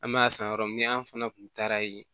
An me a san yɔrɔ min na an fana kun taara yen